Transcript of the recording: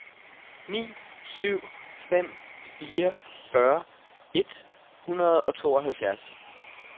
ni syv fem fire fyrre et hundrede og tooghalvfjerds